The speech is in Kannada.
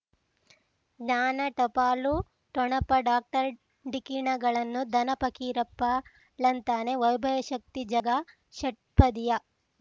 ಜ್ಞಾನ ಟಪಾಲು ಠೊಣಪ ಡಾಕ್ಟರ್ ಢಿಕ್ಕಿ ಣಗಳನು ಧನ ಫಕೀರಪ್ಪ ಳಂತಾನೆ ವೈಭವ್ ಶಕ್ತಿ ಝಗಾ ಷಟ್ಪದಿಯ